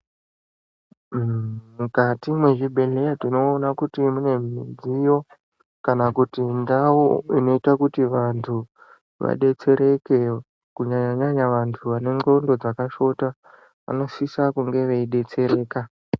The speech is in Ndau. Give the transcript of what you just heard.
Mukati mwezvibhedhleya tinoona kuti munemudziyo kana kuti ndau inoita kuti vantu vadetsereke kunyanya nyanya vantu vandxondo dzakashota vanosisa kunge veidetsereka.